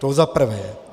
To za prvé.